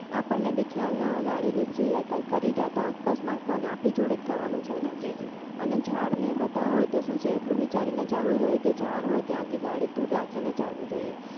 આપણને બી ખ્યાલ ગાડી નીસરી જાય કોઈ કરી જાય તો અકસ્માત કોને આપણી જોડે થવાનું છે ને અને ઝાડને બધા હોય તો શું છે એટલું વિચારીને ચાલવું જોઈએ કે ઝાડ હોય ત્યાંથી ગાડી દૂર રાખીને ચાલવું જોઈએ